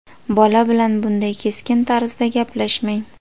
Bola bilan bunday keskin tarzda gaplashmang.